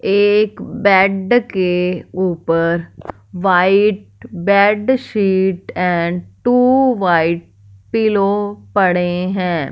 एक बेड के ऊपर white bed sheet and two white pillow पड़े हैं।